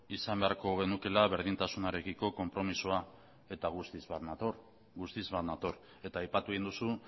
izan beharko genukeela berdintasunarekiko konpromisoa eta guztiz bat nator guztiz bat nator eta aipatu egin duzu